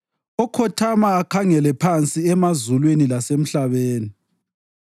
okhothama akhangele phansi emazulwini lasemhlabeni?